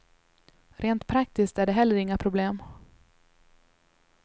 Rent praktiskt är det heller inga problem.